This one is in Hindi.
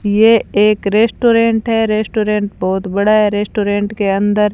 ये एक रेस्टोरेंट है रेस्टोरेंट बहोत बड़ा है रेस्टोरेंट के अंदर--